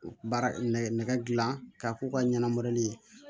Baara nɛgɛdilan k'a k'u ka ɲɛnamarali ye